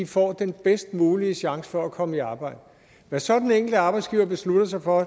får den bedst mulige chance for at komme i arbejde hvad så den enkelte arbejdsgiver beslutter sig for